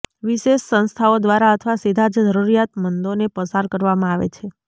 વિશેષ સંસ્થાઓ દ્વારા અથવા સીધા જ જરૂરિયાતમંદોને પસાર કરવામાં આવે છે